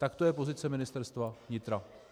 Tak to je pozice Ministerstva vnitra.